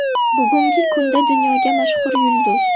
Bugungi kunda dunyoga mashhur yulduz.